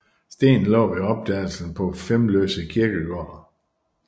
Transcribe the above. Stenen lå ved opdagelsen på Flemløse kirkegård